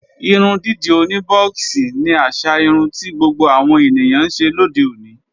Irun dídì oní bọ́ọ̀xì ni àṣà irun ti gbogbo àwọn ènìyàn ńṣe lóde òní